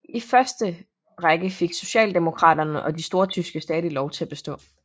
I første række fik socialdemokraterne og de stortyske stadig lov til at bestå